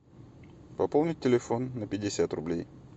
пополнить телефон на пятьдесят рублей